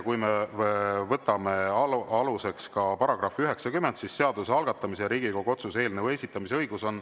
Kui me võtame aluseks § 90, siis seaduse algatamise ja Riigikogu otsuse eelnõu esitamise õigus on …